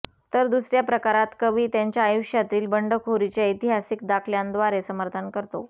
तर दुसऱ्या प्रकारात कवी त्याच्या आयुष्यातील बंडखोरीचे ऐतिहासिक दाखल्यांद्वारे समर्थन करतो